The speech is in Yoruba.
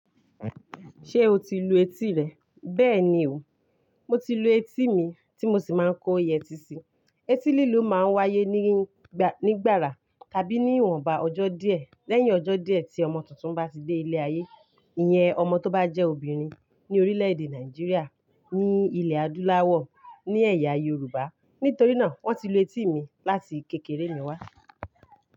Ṣé o ti lu etí rẹ? Bẹ́ẹ̀ ni o, mo ti lu etí mi tí mo sì máa n kó yẹtí si. Etí lílu máa ń wáyé ní gbara tàbí ní ìwọnba ọjọ́ díẹ̀, lẹ́yìn ọjọ́ díẹ̀ tí ọmọ tuntun bá ti dé ilé ayé. Iyẹn ọmọ tó bá jẹ́ obìnrin ní orílẹ̀ èdè Nàìjíríà ní ilẹ̀ adúláwọ̀ ni ẹ̀yà Yorùbá. Nítorí náà wọ́n ti lu etí mi láti kékeré mi wá.